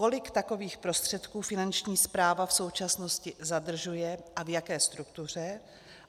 Kolik takových prostředků Finanční správa v současnosti zadržuje a v jaké struktuře?